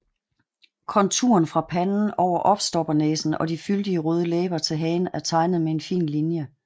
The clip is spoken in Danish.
Konturen fra panden over opstoppernæsen og de fyldige røde læber til hagen er tegnet med en fin linje